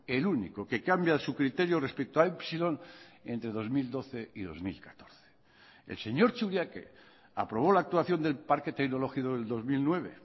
el único que cambia su criterio respecto a epsilon entre dos mil doce y dos mil catorce el señor churiaque aprobó la actuación del parque tecnológico del dos mil nueve